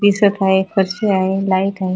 दिसत हाय फरशी हाय लाईट हाय.